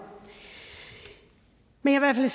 men jeg vil